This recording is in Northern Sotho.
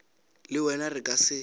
le wena re ka se